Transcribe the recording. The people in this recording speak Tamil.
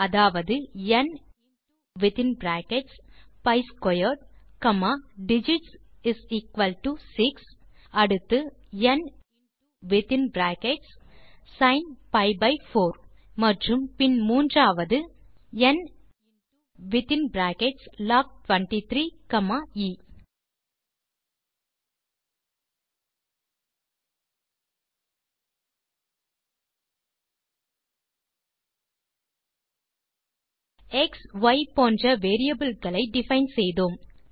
அதாவது n into within brackets p squared comma digits equal to 6 அடுத்தது n into within brackets sin p by 4 மற்றும் பின் மூன்றாவது n into within brackets log 23 comma a x y போன்ற வேரியபிள் களை டிஃபைன் செய்தோம்